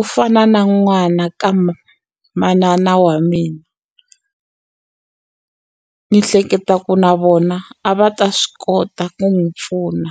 u fana na n'wana ka manana wa mina ni hleketa ku na vona a va ta swi kota ku n'wu pfuna.